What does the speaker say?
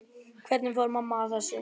Hvernig fór mamma að þessu?